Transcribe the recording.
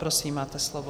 Prosím, máte slovo.